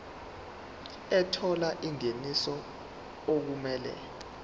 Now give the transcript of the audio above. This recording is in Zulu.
ethola ingeniso okumele